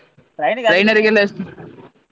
Trainer .